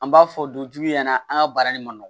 An b'a fɔ du jugu ɲɛna an ka baara nin man nɔgɔn